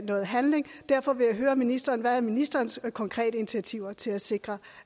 noget handling derfor vil jeg høre ministeren hvad ministerens konkrete initiativer til at sikre